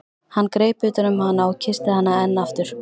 Hann greip utan um hana og kyssti hana enn aftur.